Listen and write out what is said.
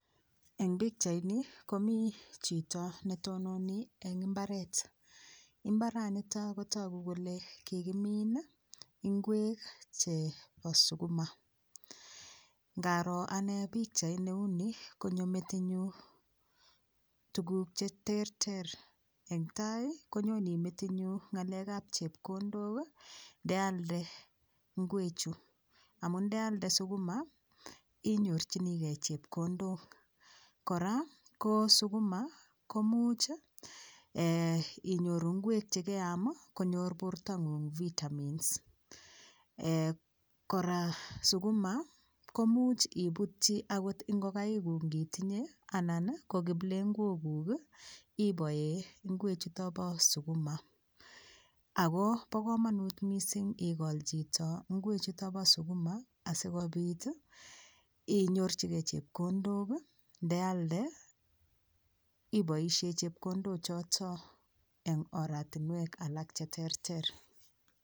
Eng pikchait ni komi chito netononi eng imbaret imbaranito kotogu kole kikimiin ingwek chebo sukuma ngaroo anee pikchait neuni konyo metinyu tukuk cheterter eng tai konyoni metinyu ngalek ab chepkondok ndealde ngewechu amu ndealde sukuma inyorchigei chepkondok kora ko sukuma komuch inyoruu ngek chekeam konyor bortonging vitamins kora sukuma komuch iputchi akot ngokaikuk ngitinye anan ko kiplengwokuk iboee Ngwee chuto bo sukuma Ako bo komonut mising ikol chito ngwe chuto bo sukuma asikobit inyorchigei chepkondok ndealde iboishee chepkondo choto eng oratinwek cheterter